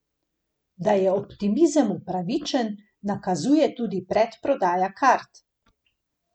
Da je optimizem upravičen, nakazuje tudi predprodaja kart.